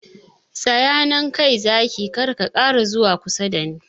Tsaya nan kai Zaki, kar ka ƙara zuwa kusa dani!